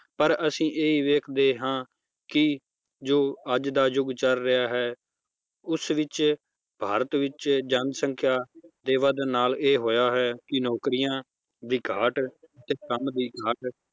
ਪਰ ਅਸੀਂ ਇਹ ਹੀ ਵੇਖਦੇ ਹਾਂ ਕਿ ਜੋ ਅੱਜ ਦਾ ਯੁੱਗ ਚੱਲ ਰਿਹਾ ਹੈ ਉਸ ਵਿੱਚ ਭਾਰਤ ਵਿੱਚ ਜਨਸੰਖਿਆ ਦੇ ਵੱਧਣ ਨਾਲ ਇਹ ਹੋਇਆ ਹੈ ਕਿ ਨੌਕਰੀਆਂ ਦੀ ਘਾਟ ਤੇ ਕੰਮ ਦੀ ਘਾਟ